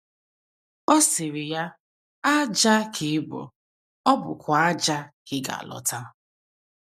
Ọ sịrị ya: “ Ájá ka ị bụ, ọ bụkwa ájá ka ị ga - alọta. ”